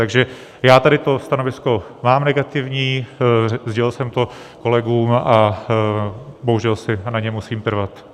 Takže já tady to stanovisko mám negativní, sdělil jsem to kolegům a bohužel si na něm musím trvat.